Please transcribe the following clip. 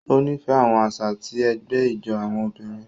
O nifẹ àwọn àṣà ti ẹgbẹ ijó àwọn obìnrin.